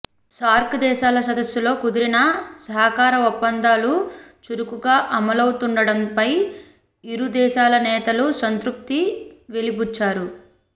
SAARC దేశాల సదస్సులో కుదిరిన సహకార ఒప్పందాలు చురుకుగా అమలవుతుండడంపై ఇరు దేశాల నేతలు సంతృప్తి వెలిబుచ్చారు